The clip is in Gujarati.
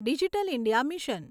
digital India mission